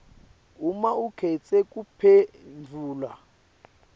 uma ukhetse kuphendvula